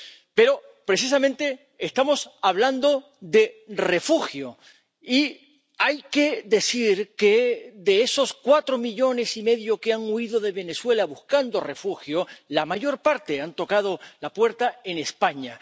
Pero, precisamente, estamos hablando de refugio y hay que decir que, de esos cuatro millones y medio que han huido de Venezuela buscando refugio, la mayor parte ha tocado la puerta de España.